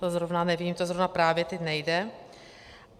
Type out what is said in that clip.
To zrovna nevím, to zrovna právě teď nejde.